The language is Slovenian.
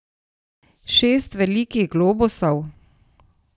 Šest velikih globusov?